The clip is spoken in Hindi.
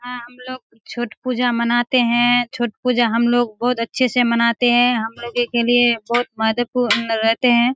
यहाँ हम लोग छठ पूजा मनाते हैं छठ पूजा हम लोग बहुत अच्छे से मनाते हैं हमलोगो के लिए बहुत महत्वपूर्ण रहते हैं।